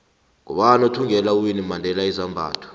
ngubani othvngela uwinnie mandela izambatho